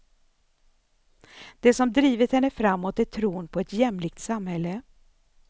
Det som drivit henne framåt är tron på ett jämlikt samhälle.